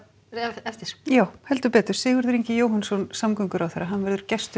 eftir já Sigurður Ingi Jóhannsson samgönguráðherra verður gestur